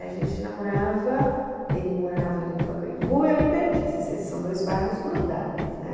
A gente namorava, ele morava ali no Pacaembu e eu em Perdices, esses são dois bairros grudados, né?